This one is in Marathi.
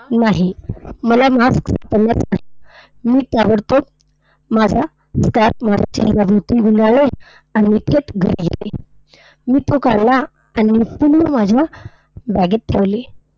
नाही. मला mask मी ताबडतोब माझा scarf माझ्या चेहऱ्याभोवती गुंडाळले. आणि मी थेट घरी आले. मी तो काढला आणि पुन्हा माझ्या bag मध्ये ठेवले.